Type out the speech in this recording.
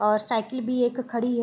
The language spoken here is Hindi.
और साइकिल भी एक खड़ी है।